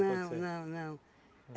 Não, não, não.